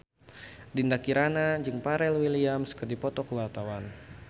Dinda Kirana jeung Pharrell Williams keur dipoto ku wartawan